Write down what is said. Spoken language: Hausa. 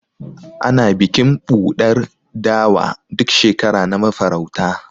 Ana Bikin ɓuɗar dawa, duk shekara na mafarauta.